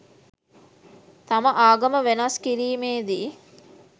තම ආගම වෙනස් කිරීමේ දී